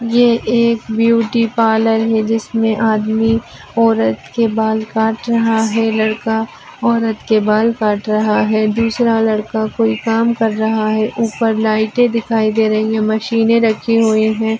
ये एक beauty parlour है जिसमें आदमी औरत के बाल काट रहा है लड़का औरत के बाल काट रहा है दूसरा लड़का कोई काम कर रहा है ऊपर लाईटे दिखाई दे रही है मशीनेे रखी हुई है।